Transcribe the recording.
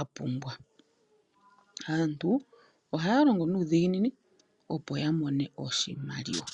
a pumbwa. Aantu ohaya longo nuudhiginini opo yamone oshimaliwa.